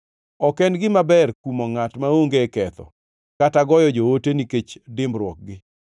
Ok en gima ber kumo ngʼat maonge ketho kata goyo joote nikech dimbruokgi.